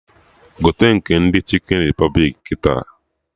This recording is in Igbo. Gote nke ndị Chikin Repụblik kịta!